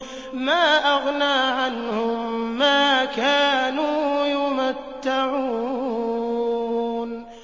مَا أَغْنَىٰ عَنْهُم مَّا كَانُوا يُمَتَّعُونَ